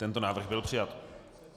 Tento návrh byl přijat.